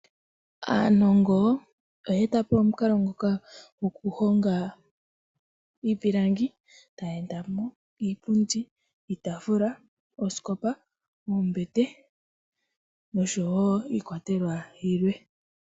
Aanongo, oya eta po omukalo ngoka goku honga iipilangi, etaya etamo, iipundi, iitaafula, oosikopa, oombete, noshowo iikwatelwa yilwe.